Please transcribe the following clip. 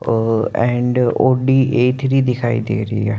O and O D A three दिखाई दे रही है।